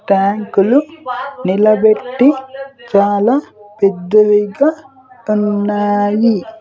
ట్యాంకులు నిలబెట్టి చాలా పెద్దవిగా తన్నాయి.